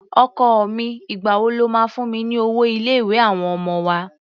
Ọkọ mi, ìgbà wo lo máa fún mi ní owó ilé-ìwé àwọn ọmọ wa?